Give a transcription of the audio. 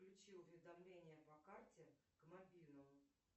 включи уведомление по карте к мобильному